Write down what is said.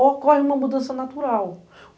Ou ocorre uma mudança natural.